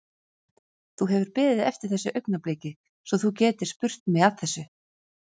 Þú hefur beðið eftir þessu augnabliki svo þú getir spurt mig að þessu?